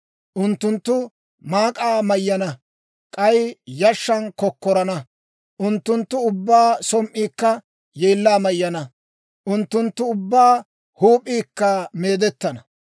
Unttunttu maak'aa mayyana; k'ay yashshan kokkorana. Unttunttu ubbaa som"iikka yeellaa mayyana; unttunttu ubbaa huup'iikka meedettana.